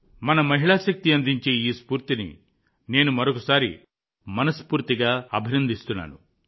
మన మహిళా శక్తి అందించే ఈ స్ఫూర్తిని నేను మరోసారి మనస్పూర్తిగా అభినందిస్తున్నాను